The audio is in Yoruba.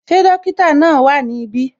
Ṣé dókítà náà wá ní ibi?